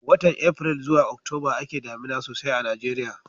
watan april zuwa October a ke damina sosai a najeriya